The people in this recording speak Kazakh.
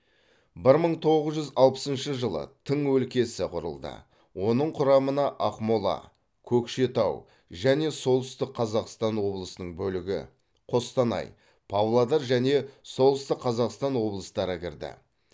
бір мың тоғыз жүз алпысыншы жылы тың өлкесі құрылды оның құрамына ақмола көкшетау және солтүстік қазақстан облысының бөлігі қостанай павлодар және солтүстік қазақстан облыстары кірді